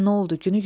Nə oldu?